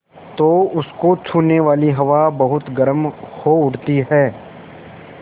तो उसको छूने वाली हवा बहुत गर्म हो उठती है